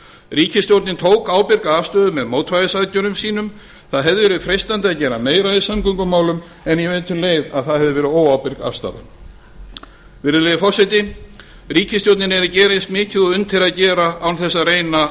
ríkisstjórnin tók ábyrga afstöðu með mótvægisaðgerðum sínum það hefði verið freistandi að gera meira í samgöngumálum en ég veit um leið að það hefði verið óábyrg afstaða virðulegi forseti ríkisstjórnin er að gera eins mikið og unnt er að gera án þess að reyna